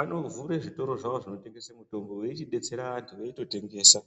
anotovhure zvitoro zvavo zvinotengese mutombo veichidetsera vantu eitotengesa.